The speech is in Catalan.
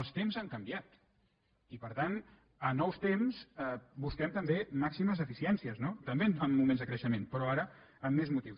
els temps han canviat i per tant a nous temps bus·quem també màximes eficiències no també en mo·ments de creixement però ara amb més motius